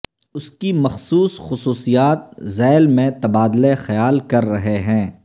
اس کی مخصوص خصوصیات ذیل میں تبادلہ خیال کر رہے ہیں